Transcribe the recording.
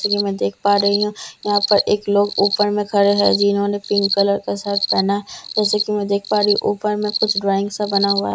से की मैं देख पा रही हूं यहां पर एक लोग ऊपर में खड़े हैं जिन्होंने पिंक कलर का शर्ट पहना जैसे कि मैं देख पा रही ऊपर में कुछ ड्राइंग सा बना